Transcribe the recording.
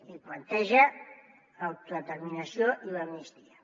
i planteja l’autodeterminació i l’amnistia